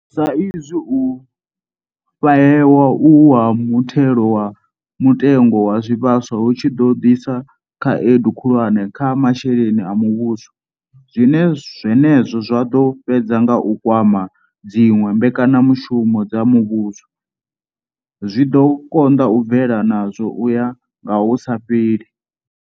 Sa izwi u fhahewa uhu ha muthelo wa mutengo wa zwivhaswa hu tshi ḓo ḓisa khaedu khulwane kha masheleni a muvhuso, zwine zwenezwo zwa ḓo fhedza nga u kwama dziṅwe mbekanyamushumo dza muvhuso, zwi ḓo konḓa u bvela nazwo u ya nga hu sa fheli.